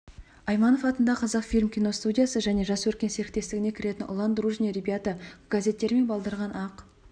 айманов атындағы қазақфильм киностудиясы және жас өркен серіктестігіне кіретін ұлан дружные ребята газеттері мен балдырған ақ